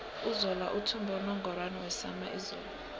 uzola uthumbe unungorwana wesama izolo